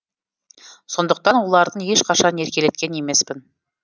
сондықтан оларды ешқашан еркелеткен емеспін